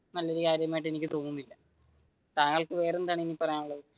നല്ലൊരു കാര്യമായിട്ട് എനിക്ക് തോന്നുന്നില്ല താങ്കൾക്ക് വേറെന്താണ് ഇനി പറയാനുള്ളത്,